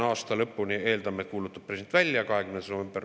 Aasta lõpuni on jäänud.